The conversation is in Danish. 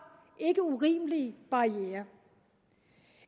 ikke urimelige barrierer